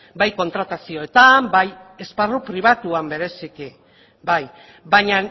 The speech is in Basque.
bai kontratazioetan bai esparru pribatuan bereziki bai baina